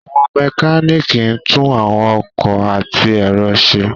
Àwọn mekaniki ńtun àwọn ọkọ ati ẹrọ ṣe